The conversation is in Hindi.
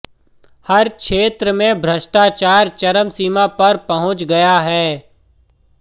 हर क्षेत्र में भ्रष्टाचार चरमसीमा पर पहुंच गया है